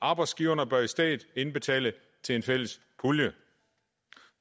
arbejdsgiverne bør i stedet indbetale til en fælles pulje